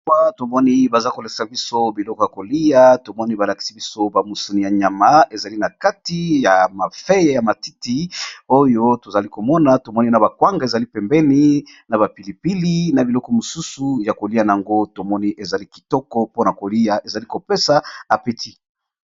Awa tomoni bazali kolakisa biloko ya kolia, tomoni balakisi misunyi ébélé